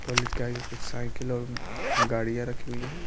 College के आगे कुछ साइकिल और गाड़ियां रखी हुई है।